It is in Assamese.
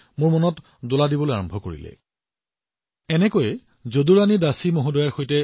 এই কৌতূহলতে মই যদুৰাণী দাসীজীক লগ পাইছিলো